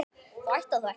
þú ætlar þó ekki.